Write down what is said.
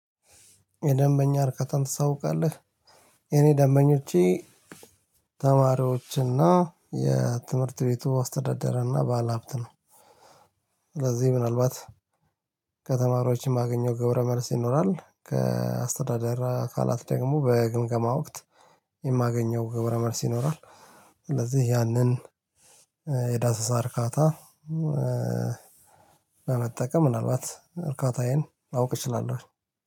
የደንበኛ እርከታን ታሰውቃለህ? የኔ ደንበኞቼ ተማሪዎችና የትምህርት ቤቱ ውስ አስተዳደረ እና ባለሀብት ነው። ስለዚህ ምናልባት ከተማሪዎች የማገኘው ገብረመልስ ይኖራል ከአስተዳደር አካላት ደግሞ በግምገማ ወቅት የማገኘው ገብረመልስ ይኖራል። ስለዚህ ያንን የዳሰሳ እርካታ በመጠቀም ምናልባት እርካታዬን አውቅ እችላለሁ።